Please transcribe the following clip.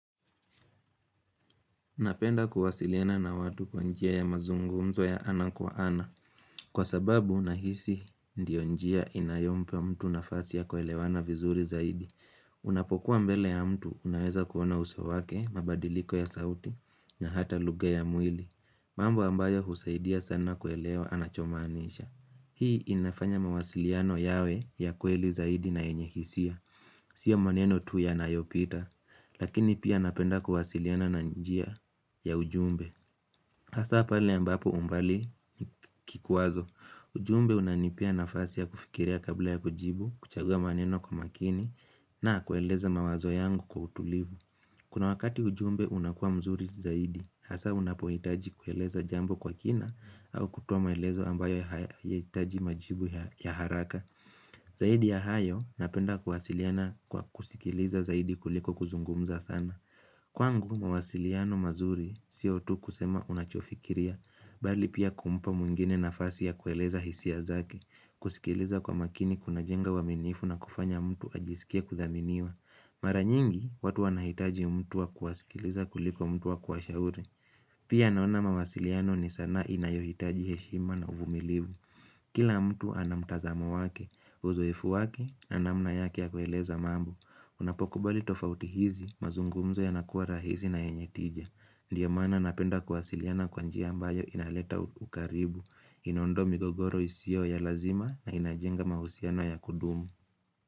Napenda kuwasiliana na watu kwanjia ya mazungumzo ya ana kwa ana. Kwa sababu, unahisi ndiyo njia inayompa mtu nafasi ya kwelewana vizuri zaidi. Unapokuwa mbele ya mtu, unaweza kuona usowake, mabadiliko ya sauti, na hata lughe ya mwili. Mambo ambayo husaidia sana kwelewa anachomanisha. Hii inafanya mawasiliano yawe ya kweli zaidi na yenye hisia. Sio maneno tu ya nayopita, lakini pia napenda kuwasiliana na njia. Ya ujumbe, hasa pali ambapo umbali ni kikuwazo ujumbe unanipea nafasi ya kufikiria kabla ya kujibu, kuchagua maneno kwa makini na kueleza mawazo yangu kwa utulivu Kuna wakati ujumbe unakua mzuri zaidi, hasa unapoitaji kueleza jambo kwa kina au kutoa maelezo ambayo haya itaji majibu ya haraka Zaidi ya hayo napenda kuhasiliana kwa kusikiliza zaidi kuliko kuzungumza sana Kwangu, mawasiliano mazuri sio tu kusema unachofikiria, bali pia kumpa mwingine nafasi ya kueleza hisia zake, kusikiliza kwa makini kuna jenga waminifu na kufanya mtu ajisikia kuthaminiwa. Mara nyingi, watu wanahitaji mtua kuwasikiliza kuliko mtu wa kuwashauri. Pia naona mawasiliano ni sana inayohitaji heshima na uvumilivu. Kila mtu anamtazamo wake, uzoefu wake na namna yake ya kueleza mambo Unapokubali tofauti hizi, mazungumzo ya nakua rahizi na yenye tija Ndiyo mana napenda kuhasiliana kwanjia ambayo inaleta ukaribu Inondoa migogoro isio ya lazima na inajenga mahusiano ya kudumu.